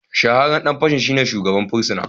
Shahararren dan fashin shine shugaban fursuna